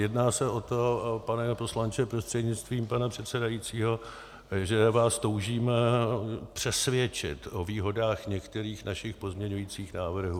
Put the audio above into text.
Jedná se o to, pane poslanče prostřednictvím pana předsedajícího, že vás toužíme přesvědčit o výhodách některých našich pozměňovacích návrhů.